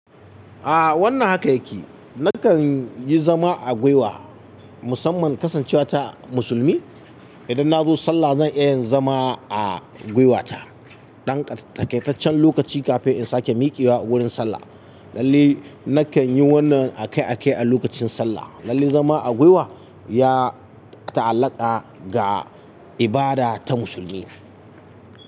A wannan haka yake. Nakan yi zama a gwiwa musamman kasancewa ta musulmi. Idan na zo sallah zan iya zama a gwiwata dan takaitaccen lokaci kafin in sake miƙewa wurin sallah. Lallai nakan yi wannan a kai a kai a lokacin sallah. Lallai zama a gwiwa ya ta'allaka ga ibada ta musulmi.